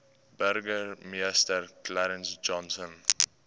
burgemeester clarence johnson